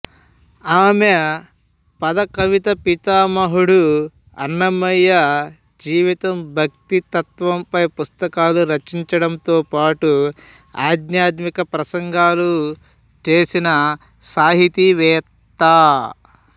ఆమె పద కవితా పితామహుడు అన్నమయ్య జీవితం భక్తి తత్వంపై పుస్తకాలు రచించడంతో పాటు ఆధ్యాత్మిక ప్రసంగాలు చేసిన సాహితీవేత్త